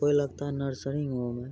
कोई लगता है नर्सरी होम है।